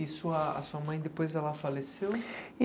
E sua a sua mãe, depois ela faleceu?